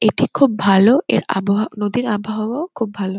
এটি খুব ভালো। এর আবহা নদীর আবহাওয়াও খুব ভালো।